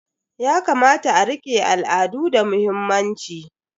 Yakamata a rike al'adu da muhimmanci.